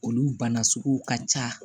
Olu bana sugu ka ca